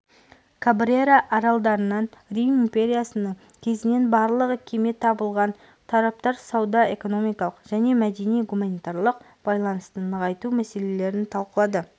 кабрера аралдарынан рим империясының кезінен барлығы кеме табылған тараптар сауда-экономикалық және мәдени-гуманитарлық байланысты нығайту мәселелерін талқылады